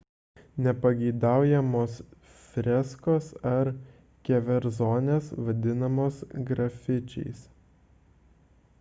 nepageidaujamos freskos ar keverzonės vadinamos grafičiais